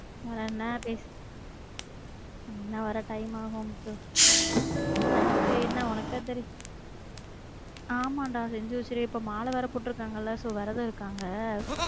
வேற என்ன பேச அண்ணா வர time ஆகும் முத்து night என்ன ஒனக்கு தான் தெரியும் ஆமா டா செஞ்சு வச்சுருவேன் இப்ப மால வேற போட்டு இருக்காங்கல so வெரதம் இருக்காங்க